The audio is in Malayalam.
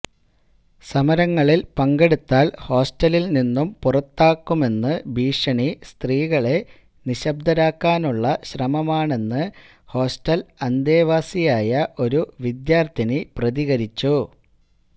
സമരങ്ങളില് പങ്കെടുത്താല് ഹോസ്റ്റലില് നിന്നും പുറത്താക്കുമെന്ന് ഭീഷണി സ്ത്രീകളെ നിശ്ബ്ദരാക്കാനുള്ള ശ്രമമാണെന്ന് ഹോസ്റ്റല് അന്തേവാസിയായ ഒരു വിദ്യാര്ത്ഥിനി പ്രതികരിച്ചു